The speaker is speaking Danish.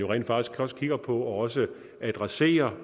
rent faktisk også kigger på og også adresserer